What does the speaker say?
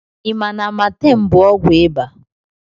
I ma na Amatem bụ ọgwụ iba?